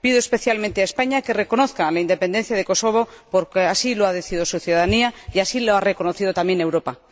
Pido especialmente a España que reconozca la independencia de Kosovo porque así lo ha decidido su ciudadanía y así lo ha reconocido también Europa.